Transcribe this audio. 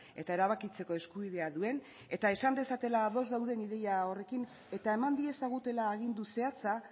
eta erabakitzeko eskubidea duen eta esan dezatela ados dauden ideia horrekin eta eman diezagutela agindu zehatza